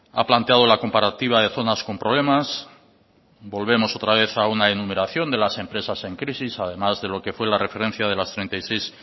ha planteado la comparativa de zonas con problemas volvemos otra vez a una enumeración de las empresas en crisis además de lo que fue la referencia de las treinta y seis